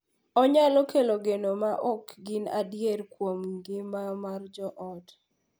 Onyalo kelo geno ma ok gin adier kuom ngima mar joot,